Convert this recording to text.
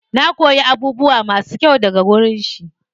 Na koyi abubuwa masu kyau daga wajen shi.